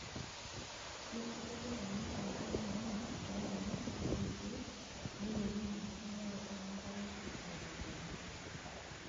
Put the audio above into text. Keitadoyio ena enkare mainin toombenek olkeek neilepunye enkitumiaroto enkare aitobiraki.